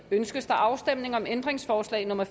ønskes afstemning om ændringsforslag nummer